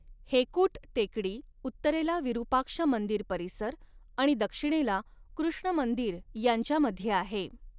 हेकुट टेकडी उत्तरेला विरूपाक्ष मंदिर परिसर आणि दक्षिणेला कृष्ण मंदिर यांच्यामध्ये आहे.